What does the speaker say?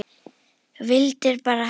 Vildir bara hana.